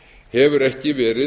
hefur ekki verið